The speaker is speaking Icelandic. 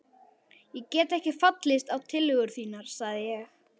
Ég get ekki fallist á tillögur þínar sagði ég.